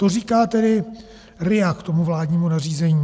To říká tedy RIA k tomu vládnímu nařízení.